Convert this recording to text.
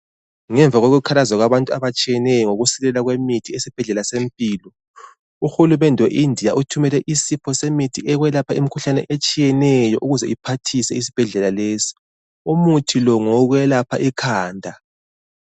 Ngemva kokukhalaza kwabantu abatshiyeneyo ngokusilela kwemithi esibhedlela seMpilo. UHulumende we India uthumele isipho semithi yokwelapha imkhuhlane etshiyeneyo ukuze iphathise isibhedlela lezi. Umuthi lo ngowokwelapha ikhanda.